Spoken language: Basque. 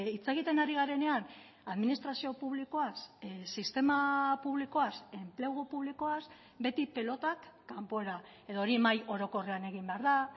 hitz egiten ari garenean administrazio publikoaz sistema publikoaz enplegu publikoaz beti pilotak kanpora edo hori mahai orokorrean egin behar da